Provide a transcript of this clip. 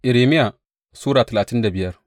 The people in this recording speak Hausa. Irmiya Sura talatin da biyar